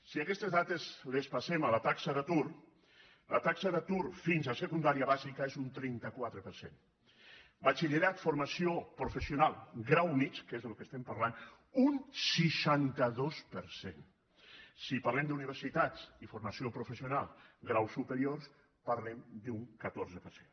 si aquestes dades les passem a la taxa d’atur la taxa d’atur fins a secundària bàsica és un trenta quatre per cent batxillerat formació professional grau mitjà que és del que estem parlant un seixanta dos per cent si parlem d’universitats i formació professional grau superior parlem d’un catorze per cent